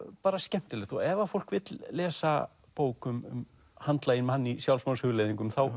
bara skemmtilegt og ef fólk vill lesa bók um handlaginn mann í sjálfsmorðshugleiðingum þá